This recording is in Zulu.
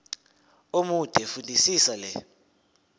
omude fundisisa le